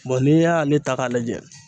n'i y'ale ta k'a lajɛ